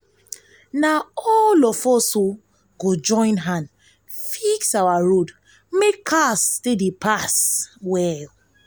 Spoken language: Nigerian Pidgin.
na all of us go join hand fix our road make car dey pass well.